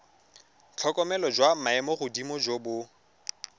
tlhokomelo jwa maemogodimo jo bo